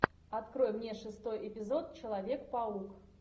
открой мне шестой эпизод человек паук